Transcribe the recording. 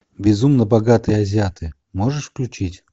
безумно богатые азиаты можешь включить